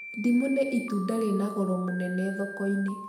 Ndimũ nĩ itunda rĩna goro mũnene thoko-inĩ.